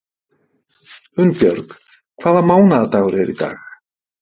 Unnbjörg, hvaða mánaðardagur er í dag?